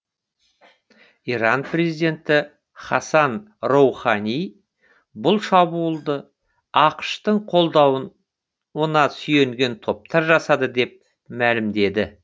иран президенті хасан роухани бұл шабуылды ақш тың қолдауына сүйенген топтар жасады деп мәлімдеді